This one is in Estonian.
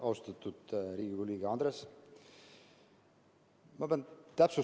Austatud Riigikogu liige Andres!